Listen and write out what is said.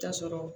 Ta sɔrɔ